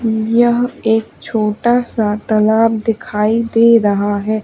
यह एक छोटासा तलाब दिखाई दे रहा हैं।